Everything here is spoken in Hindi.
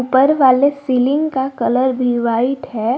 ऊपर वाले सीलिंग का कलर भी वाइट है।